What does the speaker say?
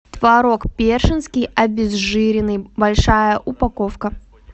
творог першинский обезжиренный большая упаковка